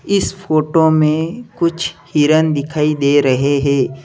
इस फोटो में कुछ हिरन दिखाई दे रहे हैं।